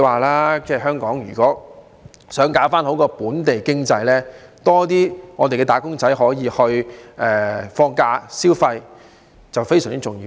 如果香港想搞好本地經濟，更多"打工仔"可以放假、消費是非常重要的。